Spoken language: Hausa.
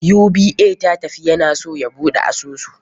UBA ya tafi, ya na so ya buɗe asusu.